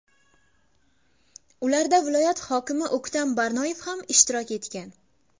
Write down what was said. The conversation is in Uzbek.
Ularda viloyat hokimi O‘ktam Barnoyev ham ishtirok etgan.